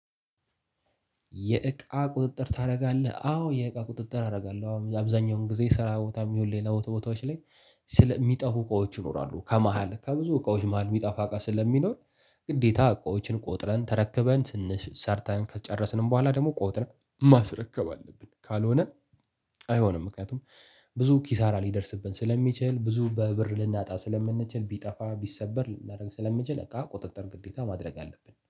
የእቃ ቁጥጥር ታደርጋለህ አዎ የእቃ ቁጥጥር አደርጋለሁ አብዛኛውን ጊዜ ስራ ቦታም ይሁን ሌላ ቦታ ቦታዎች ላይ። ስለ የሚጠፉ እቃዎች ይኖራሉ ከመሃል ከብዙ እቃዎች መሃል የሚጠፋ እቃ ስለሚኖር። ግዴታ እቃዎችን ቆጥረን ተረክበን ትንሽ ሰርተን ከጨረስንም በኋላ ደግሞ ቆጥረን ማስረከብ አለብን። ካልሆነ አይሆንም። ምክንያቱም ብዙ ኪሳራ ሊደርስብን ስለሚችል ብዙ በብር ልናጣ ስለምንችል ቢጠፋ ቢሰበር ስለሚችል እቃ ቁጥጥር ግዴታ ማድረግ አለብን